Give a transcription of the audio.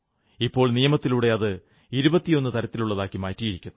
ഇപ്പോൾ നിയമത്തിലൂടെ അത് 21 തരത്തിലുള്ളതാക്കിയിരിക്കുന്നു